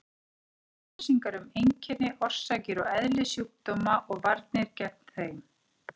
Upplýsingar um einkenni, orsakir og eðli kynsjúkdóma og varnir gegn þeim.